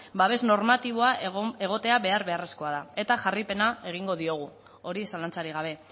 babes normatiboa egotea behar beharrezkoa da eta jarraipena egingo diogu hori zalantzarik habe